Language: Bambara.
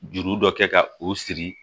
Juru dɔ kɛ ka o siri